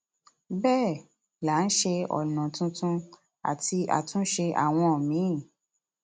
bẹẹ là ń ṣe ọnà tuntun àti àtúnṣe àwọn míín